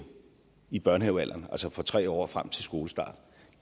i børnehavealderen altså fra tre år og frem til skolestart